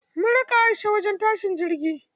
Mun raka Aisha wajen tashin jirgi.